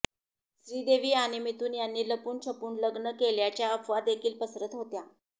श्रीदेवी आणि मिथुन यांनी लपून छपून लग्न केल्याच्या अफवादेखील पसरत होत्या